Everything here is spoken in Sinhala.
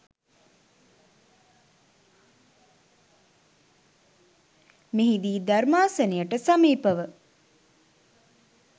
මෙහිදී ධර්මාසනයට සමීපව